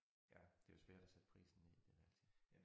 Ja det jo svært at sætte prisen ned men altid